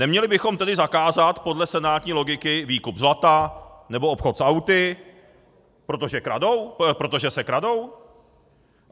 Neměli bychom tedy zakázat podle senátní logiky výkup zlata nebo obchod s auty, protože se kradou?